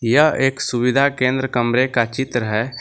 यह एक सुविधा केंद्र कमरे का चित्र है।